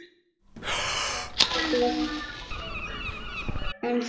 Erla Björg: En þú?